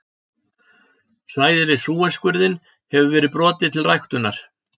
Svæði við Súesskurðinn hefur verið brotið til ræktunar.